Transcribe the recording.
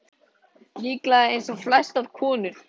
Líklega eins og flestar konur.